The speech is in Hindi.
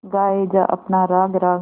गाये जा अपना राग राग